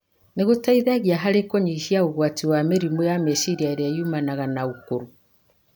nĩ gũteithagia harĩ kũnyihanyihia ũgwati wa mĩrimũ ya meciria ĩrĩa yumanaga na ũkũrũ.